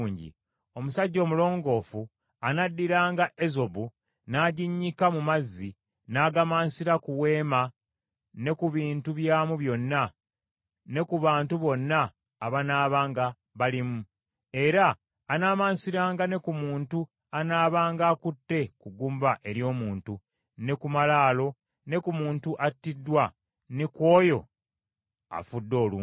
Omusajja omulongoofu anaddiranga ezobu n’aginnyika mu mazzi, n’agamansira ku weema ne ku bintu byamu byonna ne ku bantu bonna abanaabanga balimu. Era anaamansiranga ne ku muntu anaabanga akutte ku ggumba ery’omuntu, ne ku malaalo, ne ku muntu attiddwa, ne ku oyo afudde olumbe.